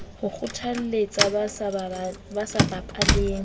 ho kgotlalletsa ba sa bapaleng